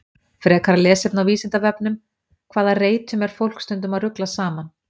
Frekara lesefni á Vísindavefnum: Hvaða reytum er fólk stundum að rugla saman?